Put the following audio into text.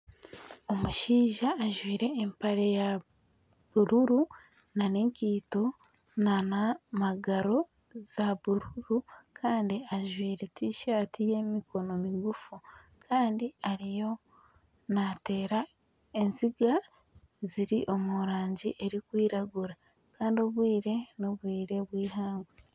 Omushaija ajwaire empare ya bururu nana enkaito nana magaro za bururu Kandi ajwaire tishati ey'emikono migufu Kandi ariyo naateera enziga ziri omu rangi erikwiragura kandi n'obwire n'obwire obw'eihangwe.